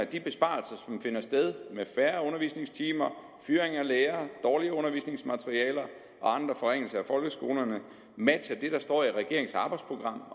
de besparelser som finder sted med færre undervisningstimer fyring af lærere dårligere undervisningsmaterialer og andre forringelser af folkeskolerne matcher det der står i regeringens arbejdsprogram